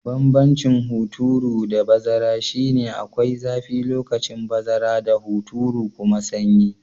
Banbancin hunturu da bazara shi ne, akwai zafi lokacin bazara da hunturu kuma sanyi.